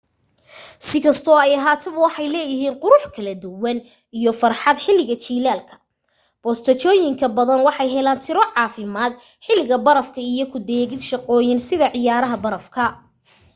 si kastoo ay ahaataba waxay leeyahiin qurux kala duwan iyo farxad xiliga jilaalka bosteeojoyin badan waxay heelan tiro caafirmad xiliga barafka iyo ku deeqid shaqooyin sida ciyaaraha baraf ka